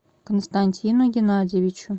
константину геннадьевичу